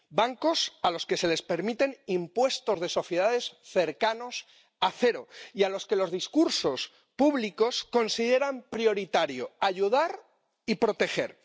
bancos a los que se les permiten impuestos de sociedades cercanos a cero y a los que los discursos públicos consideran prioritario ayudar y proteger.